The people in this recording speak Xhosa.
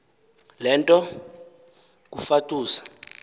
le nto kufatuse